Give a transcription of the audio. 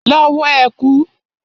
Lọ wọ ẹ̀kú!